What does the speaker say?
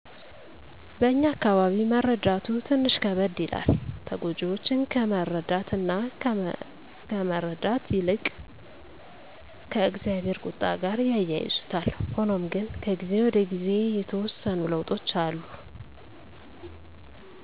በእኛ አካባቢ መረዳቱ ትንሽ ከበደ ይላል። ተጎጅወችን ከመረዳት እና ከመረዳት ይልቅ ከ እግዚአብሄር ቁጣ ጋር ያያይዙታል። ሁኖም ግነ ከጊዜ ወደ ጊዜ የተወሰኑ ለዉጦች አሉ